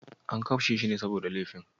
An kashe shi ne saboda laifin?